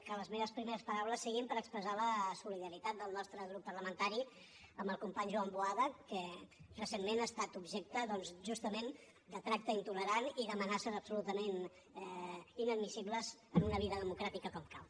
que les meves primeres paraules siguin per expressar la solidaritat del nostre grup parlamentari amb el company joan boada que recentment ha estat objecte doncs justament de tracte intolerant i d’amenaces absolutament inadmissibles en una vida democràtica com cal